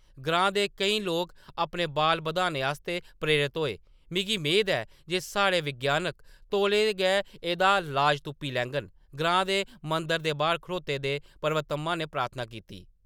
ग्रां दे केईं लोक अपने बाल बधाने आस्तै प्रेरत होए ! “मिगी मेद ऐ जे साढ़े विज्ञानक तौले गै एह्‌‌‌दा लाज तुप्पी लैङन”, ग्रां दे मंदर दे बाह्‌‌र खड़ोते दे पर्वतम्मा ने प्रार्थना कीती ।